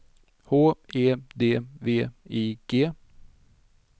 H E D V I G